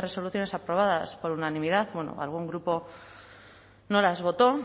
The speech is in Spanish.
resoluciones aprobadas por unanimidad bueno algún grupo no las votó